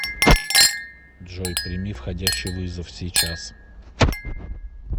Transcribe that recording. джой прими входящий вызов сейчас